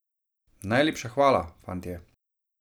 Najlepša hvala, fantje!